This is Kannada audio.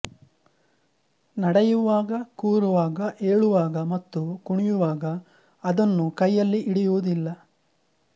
ನಡೆಯುವಾಗ ಕೂರುವಾಗ ಏಳುವಾಗ ಮತ್ತು ಕುಣಿಯುವಾಗ ಅದನ್ನು ಕೈಯಲ್ಲಿ ಹಿಡಿಯುವುದಿಲ್ಲ